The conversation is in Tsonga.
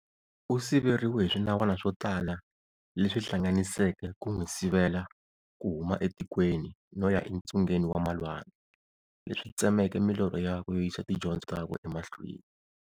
Usiveriwe hi swinawana swo tala leswi hlanganiseke ku n'wisivela ku huma a tikweni noya entsungeni wa malwandle, leswi tsemeke milorho yakwe yo yisa tindyondzo takwe e mahlweni.